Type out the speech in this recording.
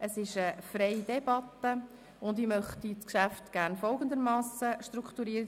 Wir führen eine freie Debatte, und ich möchte das Geschäft gerne folgendermassen strukturieren: